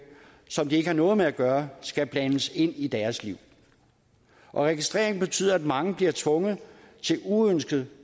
som de ikke har noget med at gøre skal blandes ind i deres liv registrering betyder at mange bliver tvunget til uønsket